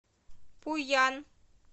пуян